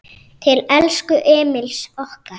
Til elsku Emils okkar.